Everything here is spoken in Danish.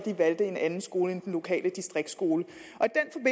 valgte en anden skole end den lokale distriktsskole